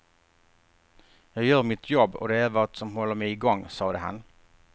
Jag gör mitt jobb och det är vad som håller mig igång, sade han.